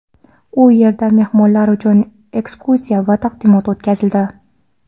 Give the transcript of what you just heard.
u yerda mehmonlar uchun ekskursiya va taqdimot o‘tkazildi.